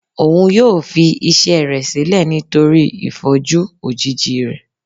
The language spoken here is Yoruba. òún yóò fi iṣẹ rẹ sílẹ nítorí ìfọjú òjíji rẹ